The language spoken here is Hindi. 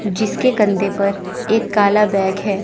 जिसके कंधे पर एक काला बैग है।